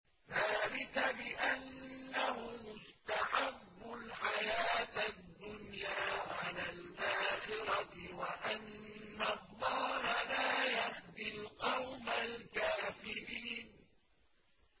ذَٰلِكَ بِأَنَّهُمُ اسْتَحَبُّوا الْحَيَاةَ الدُّنْيَا عَلَى الْآخِرَةِ وَأَنَّ اللَّهَ لَا يَهْدِي الْقَوْمَ الْكَافِرِينَ